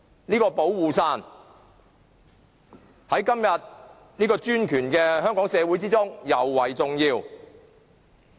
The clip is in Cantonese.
這把"保護傘"在今天專權的香港社會之中，尤為重要。